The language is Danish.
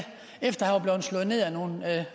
efter at slået ned af nogle